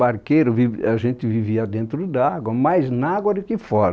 Barqueiro, viv, a gente vivia dentro d'água, mais na água do que fora.